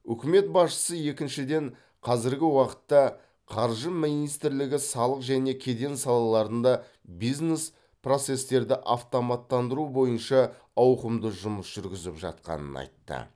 үкімет басшысы екіншіден қазіргі уақытта қаржы министрлігі салық және кеден салаларында бизнес процестерді автоматтандыру бойынша ауқымды жұмыс жүргізіп жатқанын айтты